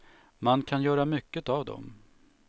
Man kan göra mycket av dem.